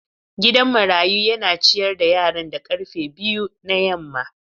Gidan marayu yana ciyar da yaran da karfe biyu na yamma.